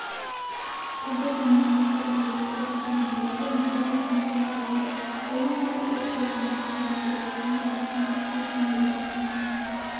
тілді заманға сай үйлестіріп терминология мәселесінен іздеу керек бұл мәселе оқшауланған қайраткерлердің ортасында шешілмеуге тиіс